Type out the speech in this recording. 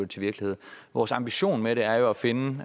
til virkelighed vores ambition med det er jo at finde